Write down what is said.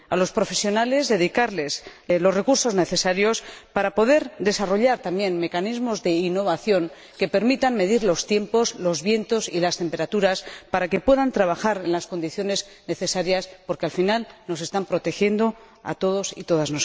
A los profesionales, hay que dedicarles los recursos necesarios para poder desarrollar también mecanismos de innovación que permitan medir los tiempos, los vientos y las temperaturas, para que puedan trabajar en las condiciones necesarias porque, al final, nos están protegiendo a todos y a todas.